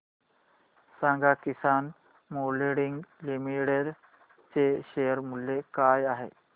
सांगा Kisan Moulding Limited चे share मूल्य काय आहे